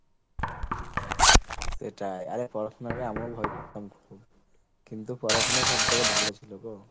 সেটাই আরে পড়াশুনা কে আমিও ভয় করতাম খুব, কিন্তু পড়াশোনা সব থেকে ভালো ছিল গো।